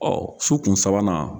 Ɔ su kun sabanan